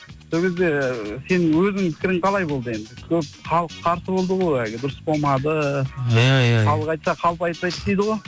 сол кезде сенің өзіңнің пікірің қалай болды енді көп халық қарсы болды ғой әлгі дұрыс болмады иә иә халық айтса қалып айтпайды дейді ғой